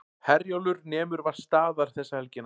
Herjólfur nemur vart staðar þessa helgina